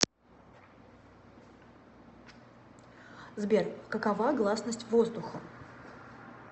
сбер какова гласность воздухом